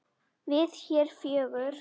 Við hér fjögur?